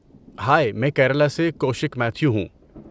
High, میں کیرالا سے کوشک میتھیو ہوں۔